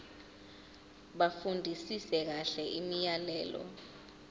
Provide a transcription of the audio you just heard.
bafundisise kahle imiyalelo